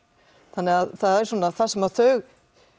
þannig það er svona það sem þau